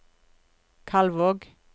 Kalvåg